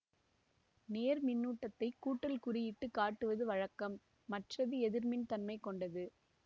நேர்மின்னூட்டத்தை கூட்டல் குறி இட்டு காட்டுவது வழக்கம் மற்றது எதிர்மின் தன்மை கொண்டது